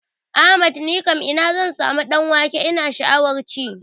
Ahmad nikam ina zan samu ɗan wake ina sha'awan ci?